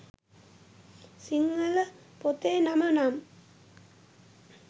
සිංහල පොතේ නම නම්